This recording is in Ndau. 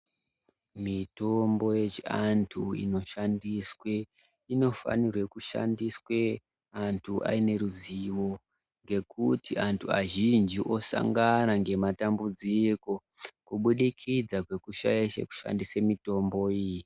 Mitombo yechiantu inoshandiswe inofanirwe kushandiswe antu aine ruziwo ngekuti antu azhinji osangana ngematambudziko kubudikidza kwekushaye kwekushandise mitombo iyi.